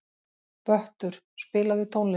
Vöttur, spilaðu tónlist.